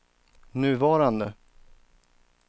nuvarande